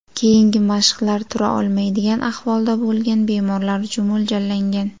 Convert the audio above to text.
Keyingi mashqlar tura olmaydigan ahvolda bo‘lgan bemorlar uchun mo‘ljallangan.